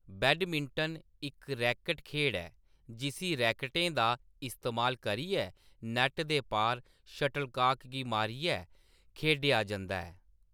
Badminton इक racket खेढ ऐ जिस्सी रैकटें दा इस्तेमाल करियै नैट्ट दे पार शटलकॉक गी मारियै खेढेआ जंदा ऐ।